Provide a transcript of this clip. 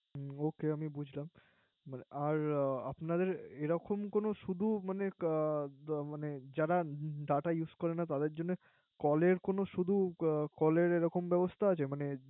ওকে আমি বুঝলাম। এরকম কোন আপনাদের এরকম কোন শুধু মানে যারা Data use করেনা । তাদের Call শুদু Call এর এরকম ব্যবস্থা আছে।